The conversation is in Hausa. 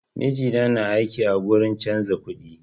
Mijina na aiki a gurin canza kuɗi